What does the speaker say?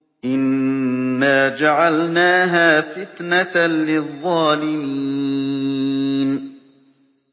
إِنَّا جَعَلْنَاهَا فِتْنَةً لِّلظَّالِمِينَ